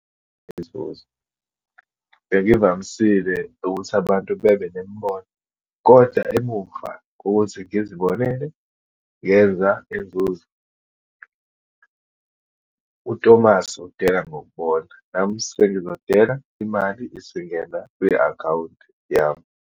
Inzuzo, bengivamisile ukuthi abantu bebe nemibono kodwa emuva kokukuthi ngizibonele, ngenza inzuzo. UTomasi udela ngokubona, nami sengizodela imali isingena kwi-akhawunti yami.